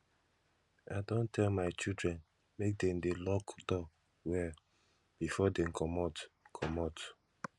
i don tell my children make dem dey lock door well before dey comot comot